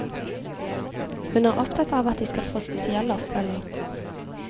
Hun er opptatt av at de skal få spesiell oppfølging.